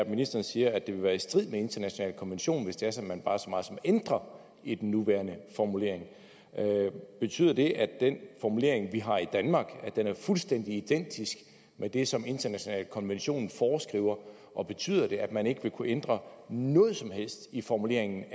ministeren sige er at det vil være i strid med internationale konventioner hvis det er sådan bare så meget som ændrer i den nuværende formulering betyder det at den formulering vi har i danmark er fuldstændig identisk med det som de internationale konventioner foreskriver og betyder det at man ikke vil kunne ændre noget som helst i formuleringen